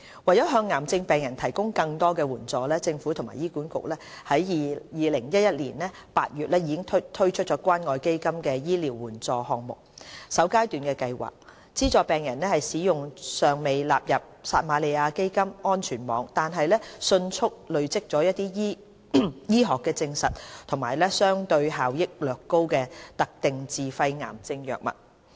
為向癌症病人提供更多援助，政府和醫管局於2011年8月推出關愛基金醫療援助項目首階段計劃，資助病人使用尚未納入撒瑪利亞基金安全網，但迅速累積醫學實證及相對效益略高的特定自費癌症藥物。